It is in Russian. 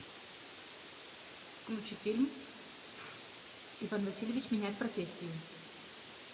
включи фильм иван васильевич меняет профессию